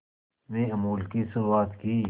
में अमूल की शुरुआत की